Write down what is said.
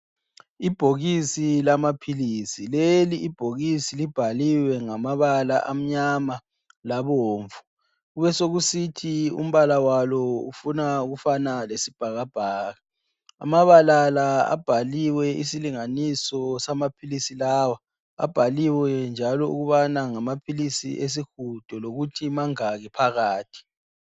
Ibhokisi lamaphilisi. Leli ibhokisi libhaliwe ngamabala amnyama labomvu. Kubesokusithi umbala walo ufuna ukufana lesibhakabhaka. Amabala la abhaliwe isilinganiso samaphilisi lawa. Abhaliwe njalo ukubana ngamaphilisi esihudo lokuthi mangaki phakathi.